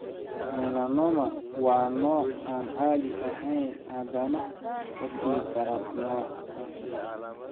Melanoma waa nooc aan caadi ahayn, haddana ka sii daran, nooca kansarka maqaarka.